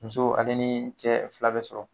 Muso ale ni cɛ fila bɛ sɔrɔ.